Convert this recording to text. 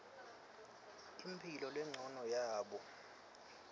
imphilo lencono yabo